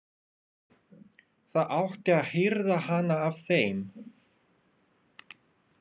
Það átti að hirða hana af þeim.